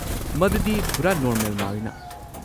ꯃꯗꯨꯗꯤ ꯄꯨꯔꯥ ꯅꯣꯔꯃꯦꯜ ꯃꯥꯜꯂꯤꯅ꯫